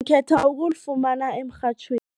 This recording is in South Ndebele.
Ngikhetha ukulifumana emrhatjhweni.